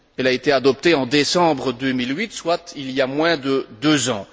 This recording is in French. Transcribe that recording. Elle a été adoptée en décembre 2008, soit il y a moins de deux ans.